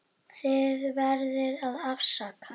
Þið verðið að afsaka.